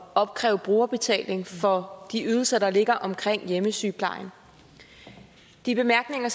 opkræve brugerbetaling for de ydelser der ligger omkring hjemmesygeplejen de bemærkninger